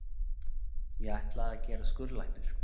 Ég ætlaði að gerast skurðlæknir.